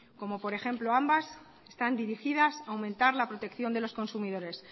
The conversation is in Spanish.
como por ejemplo ambas están dirigidas a aumentar la protección de los consumidores